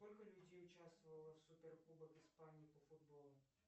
сколько людей участвовало в супер кубок испании по футболу